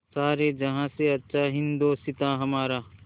सारे जहाँ से अच्छा हिन्दोसिताँ हमारा